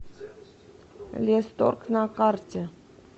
лесторг на карте